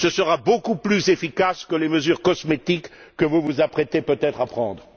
Ce sera beaucoup plus efficace que les mesures cosmétiques que vous vous apprêtez peut être à prendre.